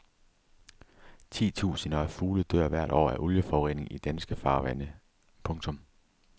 Titusinder af fugle dør hvert år af olieforurening i danske farvande. punktum